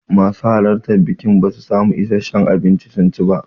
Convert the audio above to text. Masu halartan bikin basu samu issashen abinci sun ci ba.